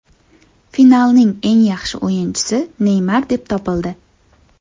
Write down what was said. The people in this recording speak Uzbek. Finalning eng yaxshi o‘yinchisi Neymar deb topildi.